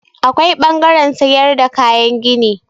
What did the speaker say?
Akwai ɓangaren sayar da kayan gini.